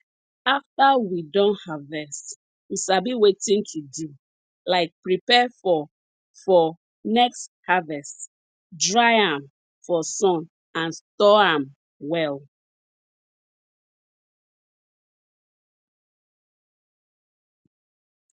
after we don harvest we sabi wetin to do like prepare for for next harvest dry am for sun and store am well